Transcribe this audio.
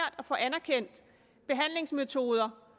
at få anerkendt behandlingsmetoder